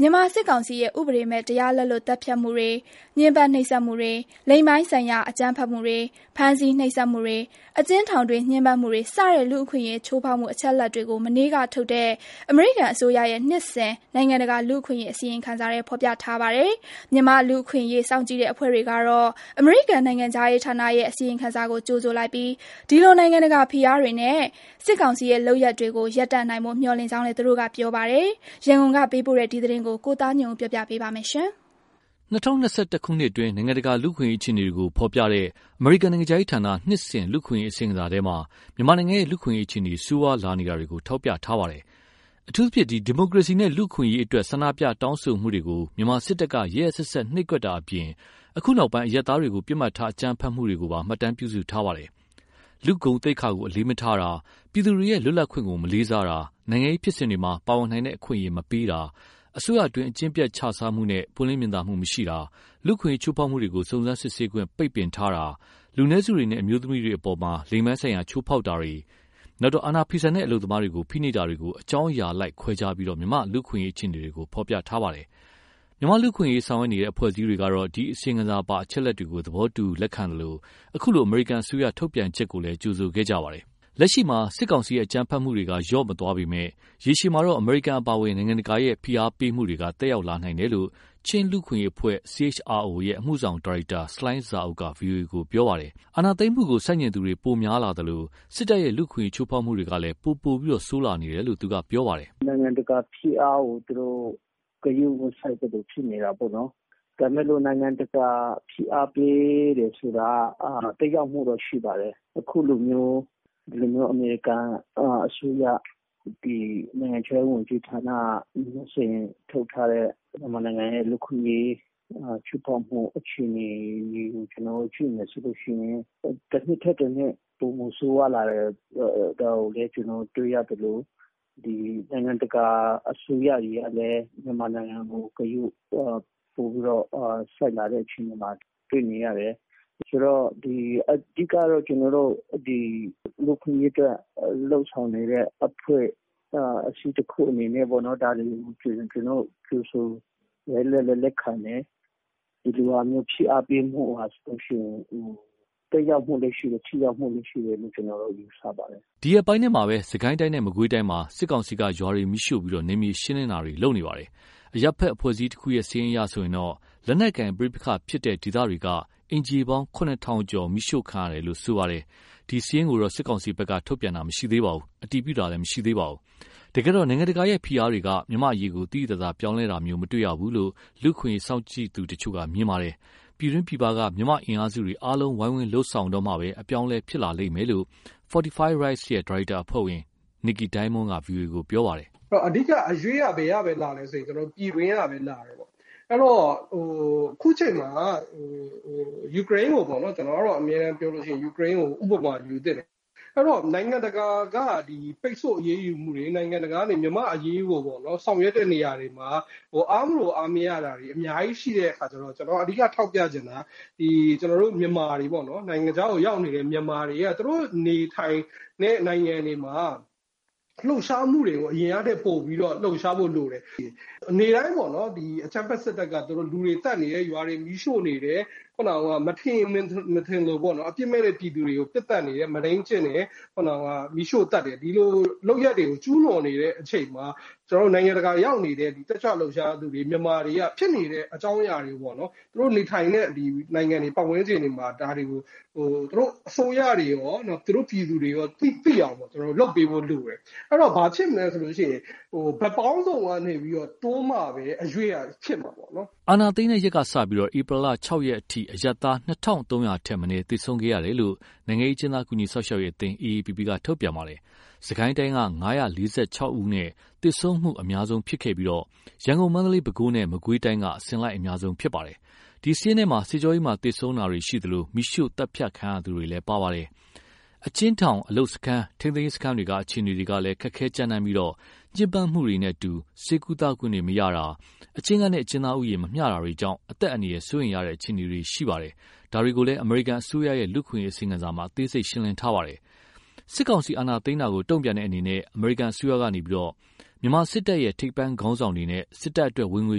မြန်မာစစ်ကောင်စီရဲ့ ဥပဒေမဲ့ တရားလက်လွတ် သတ်ဖြတ်မှုတွေ၊ ညှင်းပန်းနှိပ်စက်မှုတွေ၊ လိင်ပိုင်းဆိုင်ရာ အကြမ်းဖက်မှုတွေ၊ ဖမ်းဆီးနှိပ်စက်မှုတွေ၊ အကျဉ်းထောင်တွင်း ညှင်းပန်းမှုတွေစတဲ့ လူ့အခွင့်အရေးချိုးဖောက်မှုအချက်အလက်တွေကို မနေ့ကထုတ်တဲ့ အမေရိကန်အစိုးရရဲ့နှစ်စဉ်နိုင်ငံတကာလူ့အခွင့်အရေးအစီရင်ခံစာထဲ ဖော်ပြထားပါတယ်။ မြန်မာ့လူ့အခွင့်အရေး စောင့်ကြည့်တဲ့ အဖွဲ့တွေကတော့ အမေရိကန်နိုင်ငံခြားရေးဌာနရဲ့ အစီရင်ခံစာကို ကြိုဆိုလိုက်ပြီး ဒီလိုနိုင်ငံတကာ ဖိအားတွေနဲ့ စစ်ကောင်စီရဲ့လုပ်ရပ်တွေကို ရပ်တန့်နိုင်ဖို့ မျှော်လင့်ကြောင်းလည်း သူတို့ကပြောပါတယ်။ ရန်ကုန်ကပေးပို့တဲ့ ဒီသတင်းကို ကိုသားညွန့်ဦးက တင်ပြပေးထားပါတယ်။ ၂၀၂၁ ခုနှစ်အတွင်း နိုင်ငံတကာလူ့အခွင့်အရေးအခြေအနေတွေကို ဖော်ပြတဲ့ အမေရိကန်နိုင်ငံခြားရေးဌာန နှစ်စဉ် လူ့အခွင့်အရေးအစီရင်ခံစာထဲ မြန်မာနိုင်ငံရဲ့ လူ့အခွင့်အရေးအခြေအနေ ဆိုးဝါးလာနေတာကို ထောက်ပြထားပါတယ်။ အထူးသဖြင့် ဒီမိုကရေစီနဲ့လူ့အခွင့်အရေးအတွက်ဆန္ဒပြတောင်းဆိုမှုတွေကို မြန်မာစစ်တပ်က ရက်ရက်စက်စက်နှိပ်ကွပ်တာအပြင် အခုနောက်ပိုင်း အရပ်သားတွေကို ပစ်မှတ်ထားအကြမ်းဖက်တာတွေကိုပါ မှတ်တမ်းပြုစုထားပါတယ်။ လူ့ဂုဏ်သိက္ခာကို အလေးမထားတာ၊ ပြည်သူတွေရဲ့ လွတ်လပ်ခွင့်ကို မလေးစားတာ၊ နိုင်ငံရေးဖြစ် စဉ်မှာ ပါဝင်နိုင်တဲ့အခွင့်အရေး မပေးတာ၊ အစိုးရအတွင်းက အကျင့်ပျက်ခြစားမှုနဲ့ ပွင့်လင်းမြင်သာမှု မရှိတာ၊ လူ့အခွင့်အရေး ချိုးဖောက်မှုတွေကို စုံစမ်းစစ်ဆေးခွင့် ပိတ်ပင်ထားတာ၊ လူနည်းစုတွေနဲ့ အမျိုးသမီးတွေအပေါ် လိင်ပိုင်းဆိုင်ရာ ချိုးဖောက်တာနဲ့ အာဏာဖီဆန်တဲ့ အလုပ်သမားတွေကို ဖိနှိပ်တာတွေကို အကြောင်းအရာအလိုက်ခွဲခြားပြီး မြန်မာ့လူ့အခွင့်အရေးအခြေအနေကို ဖော်ပြထားပါတယ်။ မြန်မာ့လူ့အခွင့်အရေးဆောင်ရွက်နေကြတဲ့အဖွဲ့အစည်းတွေက ဒီ အစီရင်ခံစာပါ အချက်အလက်တွေကို သဘောတူသလို အခုလို အမေရိကန်အစိုးရ ထုတ်ပြန်ချက်ကိုလည်း ကြိုဆိုခဲ့ကြပါတယ်။ လက်ရှိမှာ စစ်ကောင်စီရဲ့ အကြမ်းဖက်မှုတွေကတော့ လျော့မသွားပေမယ့် ရေရှည်မှာ အမေရိကန်အပါအဝင် နိုင်ငံတကာရဲ့ ဖိအားတွေက သက်ရောက်လာနိုင်တယ်လို့ ချင်းလူ့အခွင့်အရေးအဖွဲ့ CHRO ရဲ့ အမှုဆောင်ဒါရိုက်တာ ဆလိုင်းဇာအုပ် က ဗွီအိုအေကို ပြောပါတယ်။ အာဏာသိမ်းတာကို ဆန့်ကျင်သူတွေ ပိုများလာသလို စစ်တပ်ရဲ့ လူ့အခွင့်အရေး ချိုးဖောက်မှုတွေကလည်း ပိုဆိုးလာနေတယ်လို့ သူကပြောပါတယ်။ "နိုင်ငံတကာဖိအားကို သူတို့ ဂရုမစိုက်သလို ဖြစ်နေတာပေါ့နော်။ ဒါပေမယ့် နိုင်ငံတကာက ဖိအားပေးတယ်ဆိုတာက သက်ရောက်မှုတော့ ရှိပါတယ်။ အခုလိုမျိုး အမေရိကန်အစိုးရ နိုင်ငံခြားရေးဝန်ကြီးဌာနက နှစ်စဉ်ထုတ်ထားတဲ့ မြန်မာနိုင်ငံရဲ့ လူ့အခွင့်အရေး ချိုးဖောက်မှု အခြေအနေတွေကို ကျနော်တို့ကြည့်မယ်ဆိုရင် တနှစ်ထက်တနှစ် ပိုမိုဆိုးရွားလာတယ်။ ဒါကိုလည်းတွေ့ရသလို နိုင်ငံတကာအစိုးရတွေကလည်း မြန်မာနိုင်ငံကို ဂရုပိုပြီးတော့ စိုက်လာတဲ့အခြေအနေမှာ တွေ့နေရတယ်။ အဓိကတော့ လူ့အခွင့်အရေးအတွက် လုပ်ဆောင်နေတဲ့ အဖွဲ့အစည်းတခုအနေနဲ့ ဒါတွေကို ကြိုဆိုတယ်၊ လက်လည်းလက်ခံတယ်။ ဒီလိုမျိုး ဖိအားပေးမှုက သက်ရောက်မှုလည်းရှိတယ်၊ ထိရောက်မှုလည်းရှိတယ်လို့ ကျနော်တော့ ယူဆပါတယ်။" ဒီရက်ပိုင်းထဲမှာ စစ်ကိုင်းတိုင်းနဲ့ မကွေးတိုင်းမှာ စစ်ကောင်စီက ရွာတွေမီးရှို့ပြီး နယ်မြေရှင်းလင်းတာတွေ လုပ်နေပါတယ်။ အရပ်ဘက်အဖွဲ့အစည်းတခုရဲ့ စာရင်းအရဆိုရင် လက်နက်ကိုင်ပဋိပက္ခဖြစ်ပွားတဲ့ ဒေသတွေက အိမ်ခြေပေါင်း ၇,၀၀၀ ကျော် မီးရှို့ခံရတယ်လို့ ရေးသားထားပါတယ်။ ဒီစာရင်းကိုတော့ စစ်ကောင်စီဘက်က ထုတ်ပြန်တာ မရှိသေးပါဘူး။ တကယ်တော့ နိုင်ငံတကာရဲ့ဖိအားတွေက မြန်မာ့အရေးကို သိသိသာသာ ပြောင်းလဲခဲ့တာမျိုး မတေ့ရဘူးလို့ လူ့အခွင့်အရေး စောင့်ကြည့်သူတချို့က မြင်ပါတယ်။ ပြည်တွင်းပြည်ပက မြန်မာ့အင်အားစုတွေ အားလုံးဝိုင်းဝန်းလုပ်ဆောင်မှပဲ အပြောင်း အလဲဖြစ်ပေါ်လာလိမ့်မယ်လို့ Fortify Rights ရဲ့ ဒါရိုက်တာအဖွဲ့ဝင် Nickey Diamond က ဗွီအိုအေကို ပြောပါတယ်။ "အဓိက အရွှေ့က ပြည်တွင်းကပဲလာတယ်။ အခုချိန်မှာ ယူကရိန်းကို ဥပမာယူသင့်တယ်။ နိုင်ငံတကာက ပိတ်ဆို့အရေးယူမှုတွေ နိုင်ငံတကာက မြန်မာ့အရေးကို ဆောင်ရွက်တဲ့နေရာမှာ အားမလိုအားမရတာတွေ အများကြီးရှိတဲ့အခါကျတော့ ကျနော်က အဓိကထောက်ပြချင်တာက နိုင်ငံခြားကိုရောက်နေတဲ့ မြန်မာတွေက သူတို့နေထိုင်တဲ့ နိုင်ငံတွေမှာ အရင်ကထက်ပိုပြီး လှုပ်ရှားဖို့လိုတယ်။ နေ့တိုင်း အကြမ်းဖက်စစ်တပ်က လူတွေသတ်နေတယ်။ ရွာတွေမီးရှို့နေတယ်။ မထင်ရင်မထင်သလို အပြစ်မဲ့တဲ့ ပြည်သူတွေကို ပစ်သတ်နေတယ်။ မုဒိမ်းကျင့်နေတယ်။ ဒီလိုလုပ်ရပ်တွေကို ကျူးလွန်နေတဲ့အချိန်မှာ နိုင်ငံတကာရောက်နေတဲ့ တက်ကြွလှုပ်ရှားသူတွေ မြန်မာတွေက ဖြစ်နေတဲ့အကြောင်းအရာတွေကို သူတို့နေထိုင်တဲ့ ပတ်ဝန်းကျင်တွေမှာ သူတို့အစိုးရတွေရော ပြည်သူတွေရော သိအောင်လုပ်ပေးဖို့လိုတယ်။ အဲဒီတော့ ဘာဖြစ်မလဲဆိုရင် ဘက်ပေါင်းစုံကနေပြီးတော့ တွန်းမှပဲ အရွေ့ကဖြစ်မှာပေါ့နော်။" အာဏာသိမ်းတဲ့ရက်ကစပြီး ဧပြီလ ၆ ရက်အထိ အရပ်သား ၂,၃၀၀ ထက်မနည်းသေဆုံးခဲ့တယ်လို့ နိုင်ငံရေးအကျဉ်းသား ကူညီစောင့်ရှောက်ရေးအသင်း AAPP က ထုတ်ပြန်ထားပါတယ်။ စစ်ကိုင်းတိုင်းက ၅၄၆ ယောက်နဲ့ သေဆုံးမှုအများဆုံးဖြစ်ပြီး ရန်ကုန်၊ မန္တလေး၊ ပဲခူးနဲ့ မကွေးတိုင်းက အစဉ်လိုက် အများဆုံးဖြစ်ပါတယ်။ ဒီစာရင်းထဲမှာ စစ်ကြောရေးမှာ သေဆုံးခဲ့တာရှိသလို မီးရှို့သတ်ဖြတ်ခံရသူတွေလည်း ပါပါတယ်။ အကျဉ်းထောင်၊ အလုပ်စခန်း၊ ထိန်းသိမ်းရေးစခန်းတွေက အခြေအနေတွေလည်း ခက်ခဲကြမ်းတမ်းပြီး ညှင်းပန်းမှုတွေနဲ့အတူ ဆေးကုသခွင့်တွေမရတာ၊ အကျဉ်းခန်းနဲ့ အကျဉ်းသားဦးရေ မမျှတာတွေကြောင့် အသက်အန္တရာယ် စိုးရိမ်ရတဲ့အခြေအနေတွေ ရှိပါတယ်။ ဒါတွေကို အမေရိကန်အစိုးရရဲ့ လူ့အခွင့်အရေး အစီရင်ခံစာမှာ အသေးစိတ် ရှင်းလင်းထားပါတယ်။ စစ်ကောင်စီ အာဏာသိမ်းတာကို တုံ့ပြန်တဲ့အနေနဲ့ အမေရိကန်အစိုးရက စစ်တပ် ရဲ့ ထိပ်ပိုင်းခေါင်းဆောင်တွေနဲ့ စစ်တပ်အတွက် ဝင်ငွေ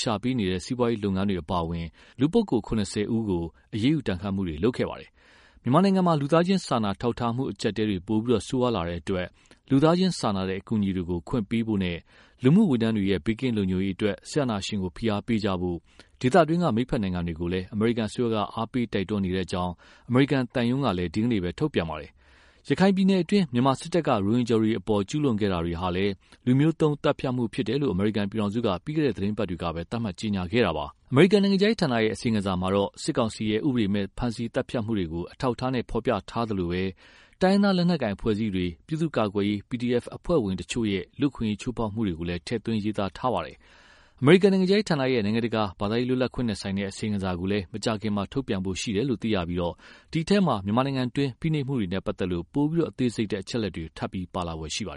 ရှာပေးနေတဲ့ စီးပွားရေးလုပ် ငန်းတွေ အပါအဝင် လူပုဂ္ဂိုလ် ၇၀ ဦးကို အရေးယူဒဏ်ခတ်မှုတွေ လုပ်ဆောင်ခဲ့ပါတယ်။ မြန်မာနိုင်ငံမှာ လူသားချင်းစာနာ ထောက်ထားမှု အကျပ်အတည်းတွေ ပိုပြီးဆိုးရွားလာတဲ့အတွက် လူသားချင်းစာနာတဲ့ အကူအညီတွေကို ခွင့်ပြုပေးဖို့နဲ့ လူမှုဝန်ထမ်းတွေရဲ့ ဘေးကင်းလုံခြုံရေးအတွက် စစ်အာဏာရှင်ကို ဖိအားပေးကြဖို့ ဒေသတွင်းက မိတ်ဘက်နိုင်ငံတွေကို အမေရိကန်အစိုးရက အားပေး တိုက်တွန်းနေကြောင်း အမေရိကန်သံရုံးကလည်း ဒီကနေ့ ထုတ်ပြန်ထားပါတယ်။ ရခိုင်ပြည်နယ်တွင်း မြန်မာစစ်တပ်က ရိုဟင်ဂျာတွေအပေါ် ကျူးလွန်ခဲ့တာတွေဟာလည်း လူမျိုးသုဉ်းသတ်ဖြတ်မှုဖြစ်တယ်လို့ အမေရိကန်ပြည်ထောင်စုက ပြီးခဲ့တဲ့သတင်းပတ်တွေကပဲ သတ်မှတ်ကြေညာခဲ့တာပါ။ အမေရိကန်နိုင်ငံခြားရေးဌာနရဲ့ အစီရင်ခံစာမှာတော့ စစ်ကောင်စီရဲ့ ဥပဒေမဲ့ ဖမ်းဆီးသတ်ဖြတ်မှုတွေကို အထောက်အထားနဲ့ ဖော်ပြထားသလို တိုင်းရင်းသား လက်နက်ကိုင် အဖွဲ့အစည်းတွေ၊ ပြည်သူ့ကာကွယ်ရေး PDF အဖွဲ့ဝင်တွေရဲ့ လူ့အခွင့်အရေး ချိုးဖောက်မှုတွေကိုလည်း ထည့်သွင်းရေးသားထားပါတယ်။ အမေရိကန် နိုင်ငံခြားရေးဌာနရဲ့ နိုင်ငံတကာ ဘာသာရေးလွတ်လပ်ခွင့်နဲ့ဆိုင်တဲ့ အစီရင်ခံစာကိုလည်း မကြာခင်ထုတ်ပြန်ဖို့ရှိပြီး ဒီအထဲမှာ မြန်မာပြည်တွင်းက ဖိနှိပ် မှုတွေနဲ့ပတ်သက်တဲ့ ပိုပြီးအသေးစိတ်တဲ့ အချက်အလက်တွေ ထပ်ပြီးပါလာဖွယ်ရှိပါတယ်